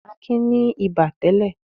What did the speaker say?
Akin ní ibà tẹ́lẹ̀.